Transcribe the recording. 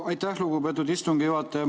Aitäh, lugupeetud istungi juhataja!